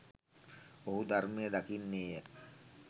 ඔහු ධර්මය දකින්නේ ය.